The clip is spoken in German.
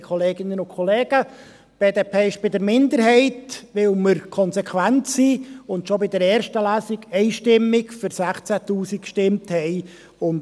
Die BDP ist bei der Minderheit, weil wir konsequent sind und schon bei der ersten Lesung einstimmig für 16’000 Franken gestimmt haben.